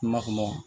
N ma kuma